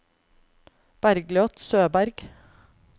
Bergljot Søberg